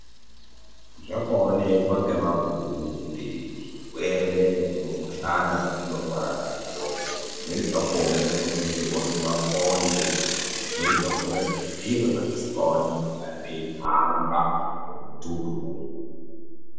Zvakaonekwa ngemabhunu kuti zvirwere nemikuhlani zvatinorwara nazvo zvimweni zvakona zvinokonzerwa ngemakonye zvimweni zvakona ngezviro zvatisingaoni zvinonga zveihamba mumututu umwu.